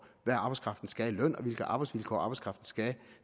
hvad arbejdskraften skal have i løn og hvilke arbejdsvilkår arbejdskraften skal have